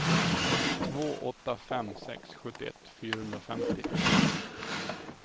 två åtta fem sex sjuttioett fyrahundrafemtio